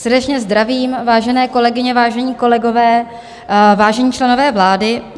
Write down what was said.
Srdečně zdravím, vážené kolegyně, vážení kolegové, vážení členové vlády.